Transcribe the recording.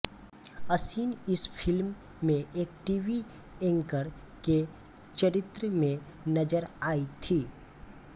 असिन इस फिल्म में एक टीवी एंकर के चरित्र में नज़र आई थी